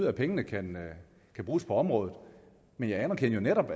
at pengene kan bruges på området men jeg anerkendte jo netop